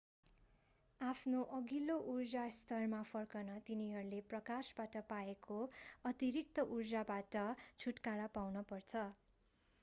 आफ्नो अघिल्लो ऊर्जा स्तरमा फर्कन तिनीहरूले प्रकाशबाट पाएको अतिरिक्त ऊर्जाबाट छुटकारा पाउनु पर्छ